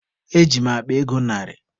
Eji m akpa ego narị.